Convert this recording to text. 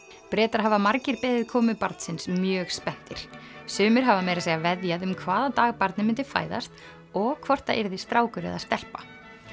Bretar hafa margir beðið komu barnsins mjög spenntir sumir hafa meira að segja veðjað um hvaða dag barnið myndi fæðast og hvort það yrði strákur eða stelpa